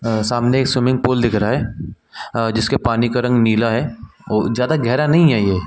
अ सामने एक swimming pool दिख रहा है अ जिसके पानी का रंग नीला है और ज्यादा गहरा नहीं है ये --